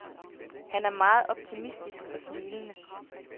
Han er meget optimistisk og smilende.